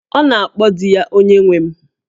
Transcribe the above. Ọ na-akpọ di ya 'Onyenwe m'